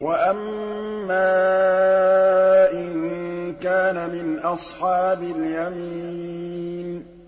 وَأَمَّا إِن كَانَ مِنْ أَصْحَابِ الْيَمِينِ